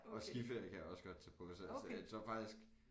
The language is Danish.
Og skiferie kan jeg også godt tage på hvis altså jeg tror faktisk